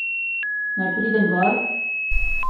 Naj pridem gor?